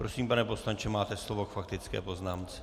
Prosím, pane poslanče, máte slovo k faktické poznámce.